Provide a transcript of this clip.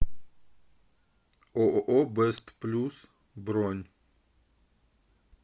ооо бест плюс бронь